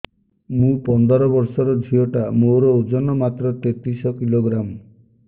ମୁ ପନ୍ଦର ବର୍ଷ ର ଝିଅ ଟା ମୋର ଓଜନ ମାତ୍ର ତେତିଶ କିଲୋଗ୍ରାମ